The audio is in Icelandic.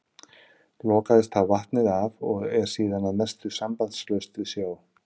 Lokaðist þá vatnið af og er síðan að mestu sambandslaust við sjó.